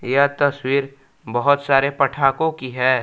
यह तस्वीर बहोत सारे पठाकों की है।